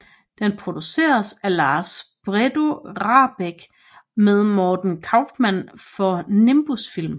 Den produceres af Lars Bredo Rahbek med Morten Kaufmann for Nimbus Film